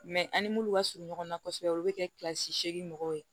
an ni munnu ka surun ɲɔgɔn na kosɛbɛ olu bɛ kɛ kilasi segin mɔgɔw ye